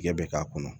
Tigɛ bɛ k'a kɔnɔ